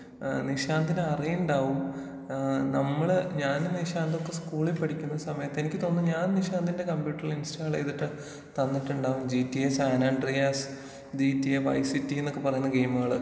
ഏഹ് നിശാന്തിന് അറിയുന്നുണ്ടാവും ഏഹ് നമ്മള് ഞാനും നിശാന്തുമൊക്കെ സ്കൂളിൽ പഠിക്കുന്ന സമയത്ത് എനിക്ക് തോന്നുന്നു ഞാൻ നിശാന്തിന്റെ കമ്പ്യൂട്ടറില് ഇൻസ്റ്റാൾ ചെയ്തിട്ട് തന്നിട്ടുണ്ടാവും G T A San Andreas G T A Vice City എന്നൊക്കെ പറയുന്ന ഗെയിമുകള്.